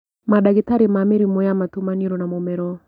Mandagĩtarĩ ma mĩrimũ ya matũ, maniũrũ na mũmero